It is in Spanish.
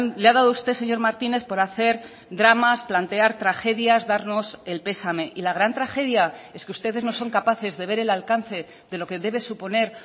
le ha dado usted señor martínez por hacer dramas plantear tragedias darnos el pesame y la gran tragedia es que ustedes no son capaces de ver el alcance de lo que debe suponer